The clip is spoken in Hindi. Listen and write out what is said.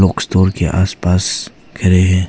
के आस पास घेरे हैं।